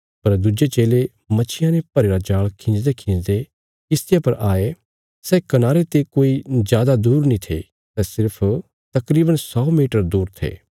पर दुज्जे चेले मच्छियां ने भरीरा जाल़ खींजदेखींजदे किशतिया पर आये सै कनारे ते कोई जादा दूर नीं थे सै सिर्फ तकरीवन सौ मीटर दूर थे